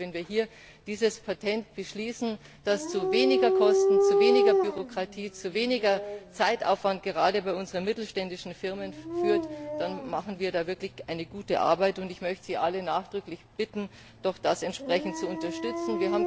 Ich denke, wenn wir hier dieses Patent beschließen, das zu weniger Kosten, zu weniger Bürokratie, zu weniger Zeitaufwand, gerade bei unseren mittelständischen Firmen führt, dann leisten wir wirklich gute Arbeit, und ich möchte sie alle nachdrücklich bitten, das doch entsprechend zu unterstützen.